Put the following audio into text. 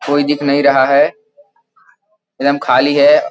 कोई दिख नहीं रहा है एकदम खाली है।